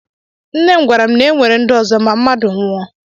Nne m gwara m na e nwere ndụ ọzọ ma mmadụ nwụọ